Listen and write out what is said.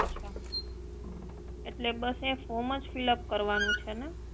અચ્છા એટલે બસ અહી ફોર્મ જ ફિલઅપ કરવાનું છે ને